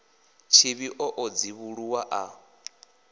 tshivhi o ḓo dzivhuluwa a